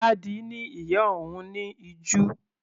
Ládi ni ìyá òun ní ìju.